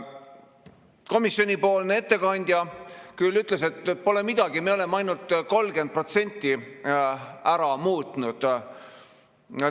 Komisjoni ettekandja küll ütles, et pole midagi, me oleme ainult 30% ära muutnud.